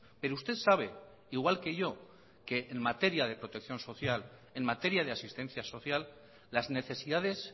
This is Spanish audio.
pero usted sabe igual que yo que en materia de protección social en materia de asistencia social las necesidades